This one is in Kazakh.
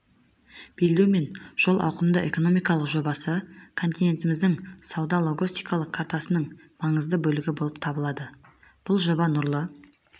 белдеу мен жол ауқымды экономикалық жобасы континентіміздің сауда-логистикалық картасының маңызды бөлігі болып табылады бұл жоба нұрлы